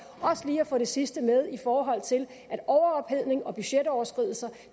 også lige at få det sidste med i forhold til at overophedning og budgetoverskridelser